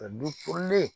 Ka dulen